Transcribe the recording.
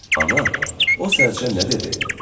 Ana, o sərçə nə dedi?